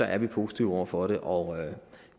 er vi positive over for det og